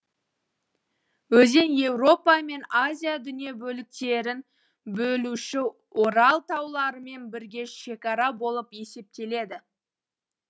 өзен еуропа мен азия дүние бөліктерін бөлуші орал тауларымен бірге шекара болып есептеледі